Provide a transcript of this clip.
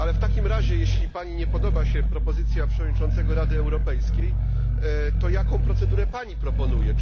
W takim razie, jeśli Pani nie podoba się propozycja przewodniczącego Rady Europejskiej, to jaką procedurę Pani proponuje?